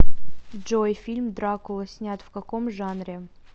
джой фильм дракула снят в каком жанре